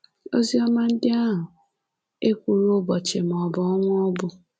Oziọma ndị ahụ ekwughị ụbọchị maọbụ ọnwa ọ bụ...